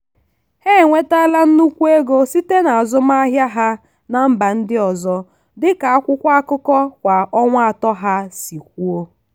ha enwetala nnukwu ego site na azụmahịa ha na mba ndị ọzọ dị ka akwụkwọ akụkọ kwa ọnwa atọ ha si kwuo.